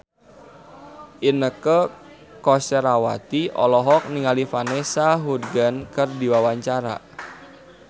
Inneke Koesherawati olohok ningali Vanessa Hudgens keur diwawancara